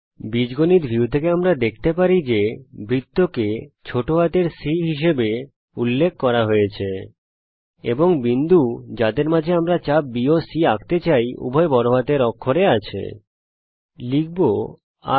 বীজগণিত ভিউ থেকে আমরা দেখতে পারি যে বৃত্তকে ছোট হাতের c হিসাবে উল্লেখ করা হয়েছে এবং বিন্দু যাদের মধ্যে আমরা চাপ bসি আঁকতে চাই উভয় বড় হাতের অক্ষরে উল্লেখ করা হয়েছে